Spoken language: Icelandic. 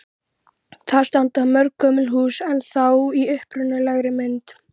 Þar standa mörg gömul hús ennþá í upprunalegri mynd.